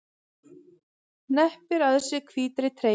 Hneppir að sér hvítri treyjunni.